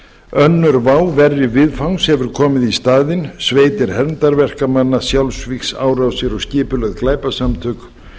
önnur vá verri viðfangs hefur komið í staðinn sveitir hermdarverkamanna sjálfsvígsárásir og skipuleg glæpasamtök